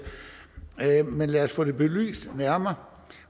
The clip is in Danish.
men lad os få det belyst nærmere